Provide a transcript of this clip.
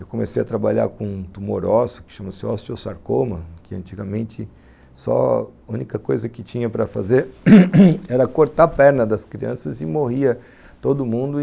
Eu comecei a trabalhar com um tumor ósseo, que chama-se osteosarcoma, que antigamente a única coisa que tinha para fazer era cortar a perna das crianças e morria todo mundo e,